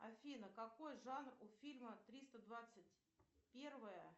афина какой жанр у фильма триста двадцать первая